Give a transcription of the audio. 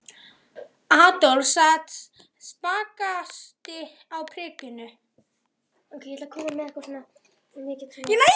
Adolf sat hinn spakasti á prikinu.